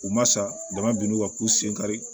U ma sa dama binn'u kan k'u sen kari